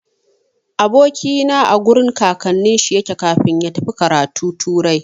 Aboki na a gurin kakannin shi yake kafin ya tafi karatu turai.